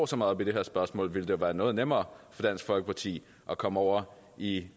så meget op i det her spørgsmål ville det jo være noget nemmere for dansk folkeparti at komme over i